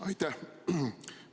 Aitäh!